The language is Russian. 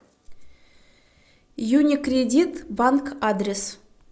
юникредит банк адрес